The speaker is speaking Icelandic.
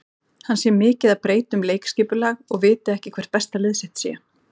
Hann sé mikið að breyta um leikskipulag og viti ekki hvert besta lið sitt sé.